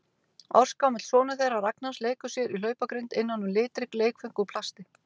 Ársgamall sonur þeirra Ragnars leikur sér í hlaupagrind innan um litrík leikföng úr plasti.